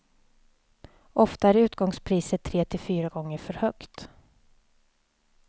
Ofta är utgångspriset tre till fyra gånger för högt.